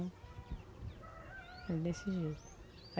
Ele decidiu.